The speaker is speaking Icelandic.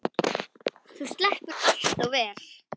Þú sleppur allt of vel.